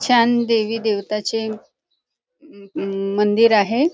छान देवी देवताचे अं अं मंदिर आहे.